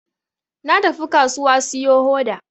Na tafi kasuwa siyo hoda